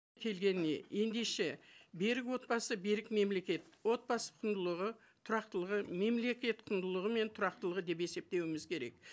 келгеніне ендеше берік отбасы берік мемлекет отбасы құндылығы тұрақтылығы мемлекет құндылығы мен тұрақтылығы деп есептеуіміз керек